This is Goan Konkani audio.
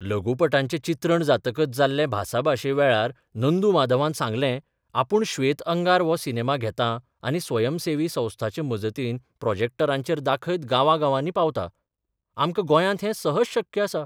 लघुपटांचें चित्रण जातकच जाल्ले भासाभाशे वेळार नंदू माधवान सांगलेंः आपूण 'श्वेत अंगार 'हो सिनेमा घेतां आनी स्वयंसेवी संस्थांचे मजतीन प्रॉजॅक्टरांचेर दाखयत गांवांगांवांनी पावतां आमकां गोंयांत हैं सहज शक्य आसा.